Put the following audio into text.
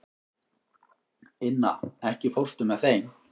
Inna, ekki fórstu með þeim?